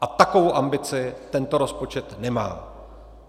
A takovou ambici tento rozpočet nemá.